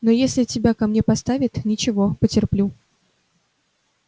но если тебя ко мне поставят ничего потерплю